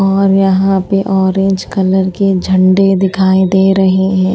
और यहां पे ऑरेंज कलर के झंडे दिखाई दे रहे हैं।